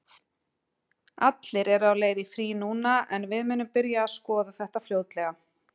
Allir eru á leið í frí núna en við munum byrja að skoða þetta fljótlega.